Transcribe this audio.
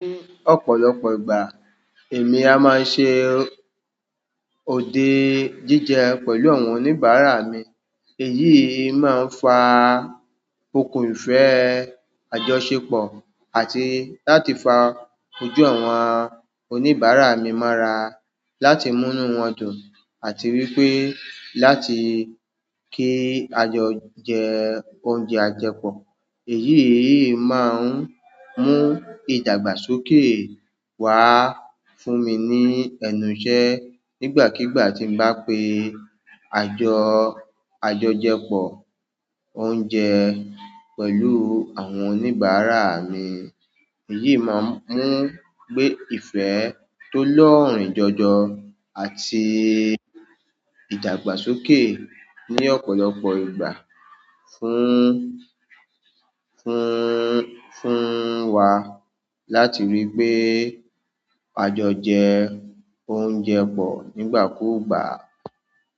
Ní ọ̀pọ̀lọpọ̀ ìgbà, èmi a máa ń ṣe òde jíjẹ pẹ̀lú àwọn oníbàárà mi. Èyí máa ń fa okùn ìfẹ́ àjọṣepọ̀ àti láti fa ojú àwọn oníbàárà mi mọ́ra láti múnú wọn dùn àti wípé láti kí ajo jẹ oúnjẹ àjẹpọ̀. Èyí máa ń mú ìdàgbàsókè wá fún mi ní ẹnu iṣẹ́ nígbàkigbà tí bá pe àjọ àjọjẹpọ̀ oúnjẹ pẹ̀lú àwọn oníbàárà mi. Èyí máa ń mú gbé ìfẹ́ tó lọ́ọ̀rìn jọjọ àti ìdàgbàsókè ní ọ̀pọ̀lọpọ̀ ìgbà fún, fún, fún wa láti ríi pé a jọjẹ oúnjẹ pọ̀ nígbàkúùgbà.